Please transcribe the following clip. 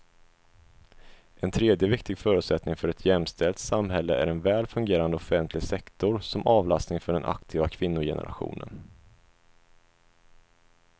En tredje viktig förutsättning för ett jämställt samhälle är en väl fungerande offentlig sektor som avlastning för den aktiva kvinnogenerationen.